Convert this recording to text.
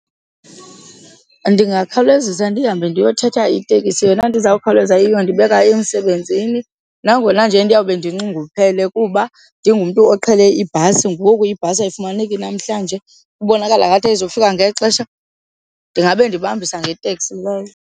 Ndingakhalezisa ndihambe ndiyothetha itekisi yona nto izawukhawuleza iyondibeka emsebenzini nangona nje ndiyawube ndinxunguphele kuba ndingumntu oqhele ibhasi. Ngoku ibhasi ayifumaneki namhlanje kubonakala ngathi ayizufika ngexesha ndingabe ndibambisa ngeteksi leyo.